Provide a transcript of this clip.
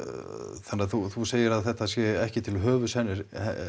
þannig að þú þú segir að þetta sé ekki til höfuðs henni